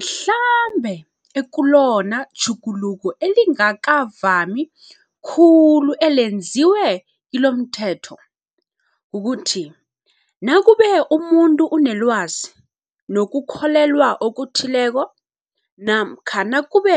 Mhlambe ekulona tjhuguluko elingakavami khulu elenziwe kilomthetho, kukuthi nakube umuntu unelwazi, nokukholelwa okuthileko namkha nakube